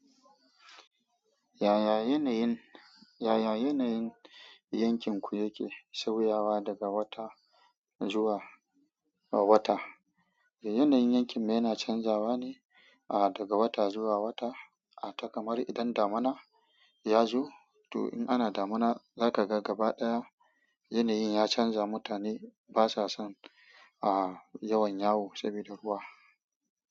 Yaya yanayin, yaya yanayin yankinku yake sauyawa daga wata zuwa wata? Yanayin yankin mu yana canzawa ne, ah, daga wata zuwa wata? Ah takamar idan damuna ya zo, to in ana damuna, za ka ga gaba ɗaya yanayin ya canza. Mutane basa son, ah, yawan yawo sabida ruwa.